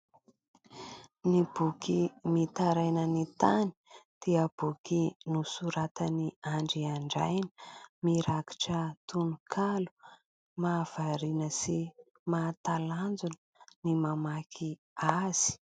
Ny boky mitaraina ny tany dia boky nosoratan'i Andry Andraina, mirakitra tononkalo mahavariana sy mahatalanjona ny mamaky azy.